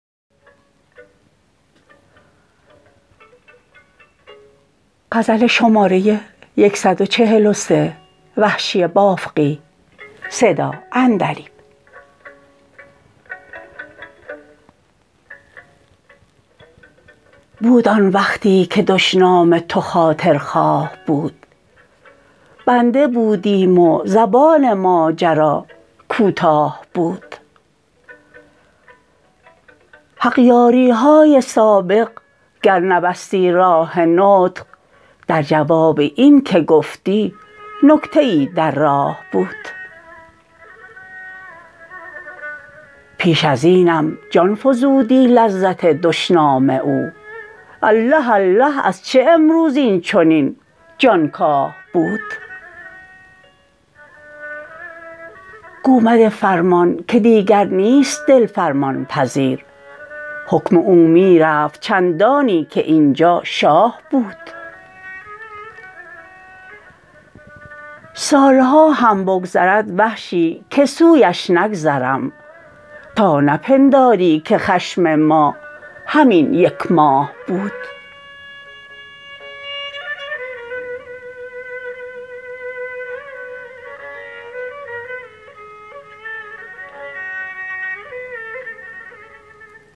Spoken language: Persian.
بود آن وقتی که دشنام تو خاطر خواه بود بنده بودیم و زبان ماجرا کوتاه بود حق یاریهای سابق گر نبستی راه نطق درجواب این که گفتی نکته ای در راه بود پیش ازینم جان فزودی لذت دشنام او اله اله از چه امروز اینچنین جانکاه بود گو مده فرمان که دیگر نیست دل فرمان پذیر حکم او می رفت چندانی که اینجا شاه بود سالها هم بگذرد وحشی که سویش نگذرم تا نپنداری که خشم ما همین یک ماه بود